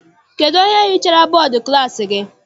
Kedụ onye hichara bọdu klassi gị?